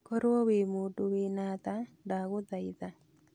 Korwo wĩ mũndũ wĩna tha ndagũthaitha